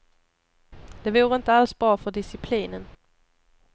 Det vore inte alls bra för disciplinen.